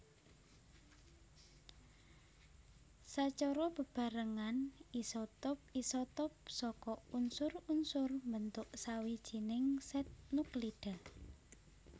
Sacara bebarengan isotop isotop saka unsur unsur mbentuk sawijining sèt nuklida